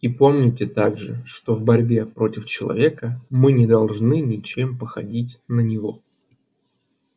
и помните также что в борьбе против человека мы не должны ничем походить на него